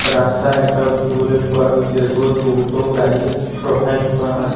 ৰাস্তা এটাও দেখিবলৈ পোৱা গৈছে য'ত বহুতো গাড়ী ৰখাই থোৱা আছে।